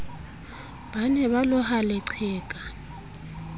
ba ne ba loha leqheka